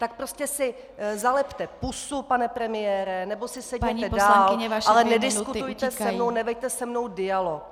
Tak prostě si zalepte pusu, pane premiére, nebo si sedněte dál, ale nediskutujte se mnou, neveďte se mnou dialog.